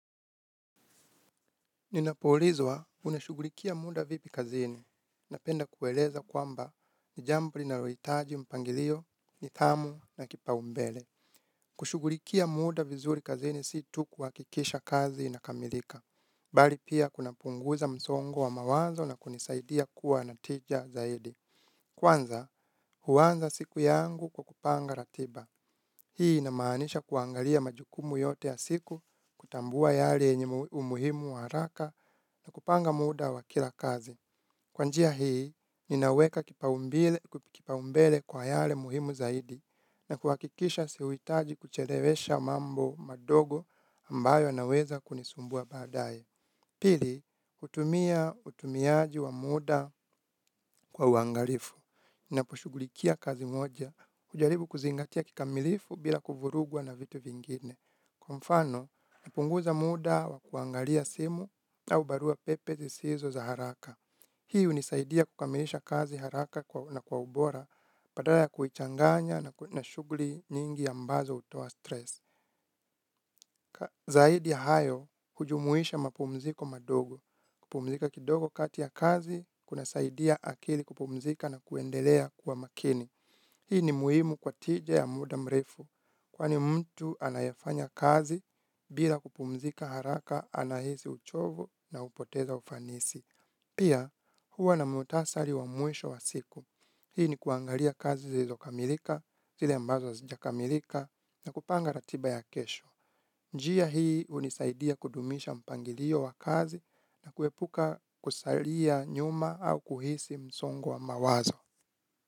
Ninapoulizwa unashughulikia muda vipi kazini. Napenda kueleza kwamba ni jambo linalohitaji mpangilio, nithamu na kipaumbele. Kushughulikia muda vizuri kazini si tu kuhakikisha kazi inakamilika. Bali pia kunapunguza msongo wa mawazo na kunisaidia kuwa na tija zaidi. Kwanza huanza siku yangu kwa kupanga ratiba. Hii inamaanisha kuangalia majukumu yote ya siku, kutambua yale yenye umuhimu wa haraka na kupanga muda wa kila kazi. Kwa njia hii, ninaweka kipaumbele kwa yale muhimu zaidi na kuhakikisha sihuitaji kuchelewesha mambo madogo ambayo yanaweza kunisumbua baadaye. Pili, hutumia utumiaji wa muda kwa uangalifu naposhughulikia kazi moja. Hujaribu kuzingatia kikamilifu bila kuvurugwa na vitu vingine. Kwa mfano, napunguza muda wa kuangalia simu au barua pepe zisizo za haraka. Hii hunisaidia kukamilisha kazi haraka na kwa ubora badala ya kuichanganya na shughuli nyingi ambazo hutoa stress. Zaidi ya hayo hujumuisha mapumziko madogo. Kupumzika kidogo kati ya kazi kunasaidia akili kupumzika na kuendelea kuwa makini. Hii ni muhimu kwa tija ya muda mrefu. Kwani mtu anayefanya kazi bila kupumzika haraka anahisi uchovu na hupoteza ufanisi. Pia huwa na muhtasari wa mwisho wa siku. Hii ni kuangalia kazi zilizokamilika zile ambazo hazijakamilika na kupanga ratiba ya kesho. Njia hii hunisaidia kudumisha mpangilio wa kazi na kuepuka kusalia nyuma au kuhisi msongo wa mawazo.